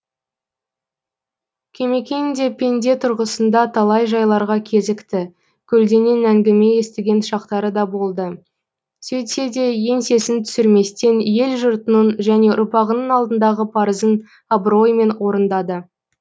кемекең де пенде тұрғысында талай жайларға кезікті көлденең әңгіме естіген шақтары да болды сөйтсе де еңсесін түсірместен ел жұртының және ұрпағының алдындағы парызын абыроймен орындады